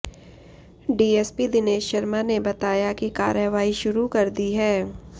DSP Dinesh Sharma ने बताया कि कार्रवाई शुरू कर दी है